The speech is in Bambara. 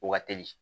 Wa teli